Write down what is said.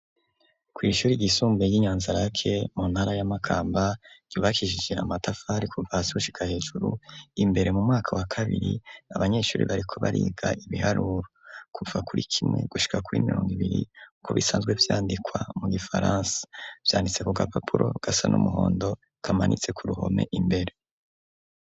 Kw'ishuri ryisumbuye ry'i Nyanzarake mu ntara ya Makamba, ryubakishije amatafari kuva hasi gushika hejuru, imbere mu mwaka wa kabiri, abanyeshuri bariko bariga ibiharuro. Kuva kuri kimwe gushika kuri mirongo ibiri, uko bisanzwe vyandikwa mu gifaransa. Vyanditse ku gapapuro gasa n'umuhondo, kamanitse ku ruhome imbere.